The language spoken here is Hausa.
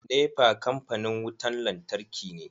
NEPA kampanin wutan lantarki ne.